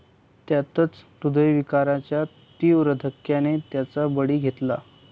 त्यातच हृदयविकाराच्या तीव्र धक्क्याने त्यांचा बळी घेतला.